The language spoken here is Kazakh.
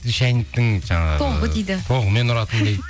шайнектің жаңағы тоғы дейді тоғымен ұратын дейді